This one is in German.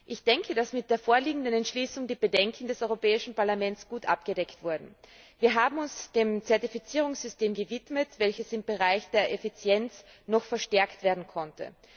Ich denke, dass mit der vorliegenden Entschließung die Bedenken des Europäischen Parlaments gut abgedeckt wurden. Wir haben uns dem Zertifizierungssystem gewidmet, welches im Bereich der Effizienz noch verstärkt werden konnte.